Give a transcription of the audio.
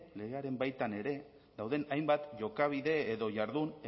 legearen baitan ere dauden hainbat jokabide edo jardun